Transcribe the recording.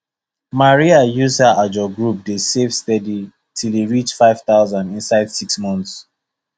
maria use her ajo group dey save steady till e reach 5000 inside 6 months